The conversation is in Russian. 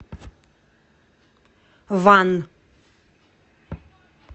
ван